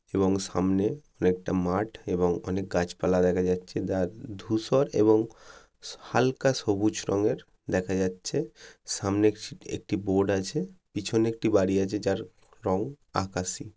এবং সামনে অনেকটা মাঠ এবং অনেক গাছপালা দেখা যাচ্ছে। যার ধূসর এবং হালকা সবুজ রঙের দেখা যাচ্ছে। সামনে একটি বোর্ড আছে। পিছনে একটি বাড়ি আছে যার রং আকাশি।